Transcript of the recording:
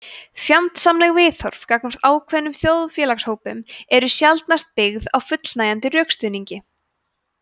fjandsamleg viðhorf gagnvart ákveðnum þjóðfélagshópum eru sjaldnast byggð á fullnægjandi rökstuðningi